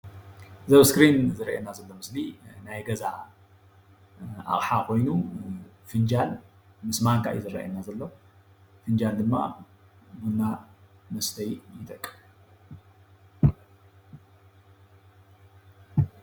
እዚ ኣብ እስክሪን ዝርአየና ዘሎ ምስሊ ናይ ገዛ አቅሓ ኾይኑ። ፍንጃል ምስ ማንካ እዩ ዝርአየና ዘሎ። ፍንጃል ድማ ቡና ንመስተዩ ይጠቅም።